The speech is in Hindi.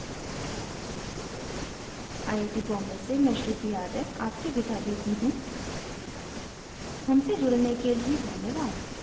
आई आई टी बॉम्बे से मैं श्रुति आर्य आपसे विदा लेती you धन्यवाद